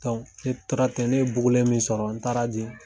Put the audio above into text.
ne tora ten ne ye bugulen min sɔrɔ n taara di.